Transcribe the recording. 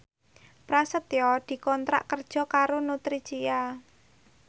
Prasetyo dikontrak kerja karo Nutricia